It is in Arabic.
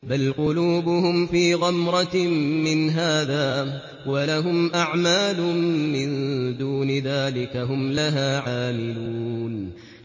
بَلْ قُلُوبُهُمْ فِي غَمْرَةٍ مِّنْ هَٰذَا وَلَهُمْ أَعْمَالٌ مِّن دُونِ ذَٰلِكَ هُمْ لَهَا عَامِلُونَ